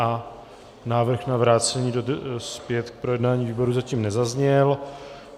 A návrh na vrácení zpět k projednání výborům zatím nezazněl.